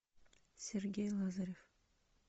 сергей лазарев